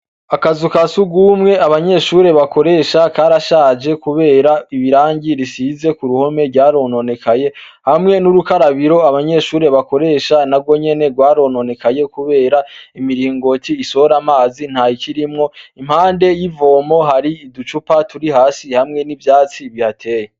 Akazu ka si ugumwe abanyeshure bakoresha karashaje, kubera ibirangi risize ku ruhome ryarononekaye hamwe n'urukarabiro abanyeshure bakoresha na gwo nyene rwarononekaye, kubera imiringoci isora amazi nta ikirimwo impande y'ivomo hari iducupa turi hasi hamwe n'ivyatsi bihae.